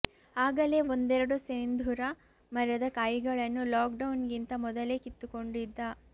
ಆಗಲೇ ಒಂದೆರಡು ಸೇಂದುರ ಮರದ ಕಾಯಿಗಳನ್ನು ಲಾಕ್ ಡೌನ್ಗಿಂತ ಮೊದಲೇ ಕಿತ್ತುಕೊಂಡಿದ್ದ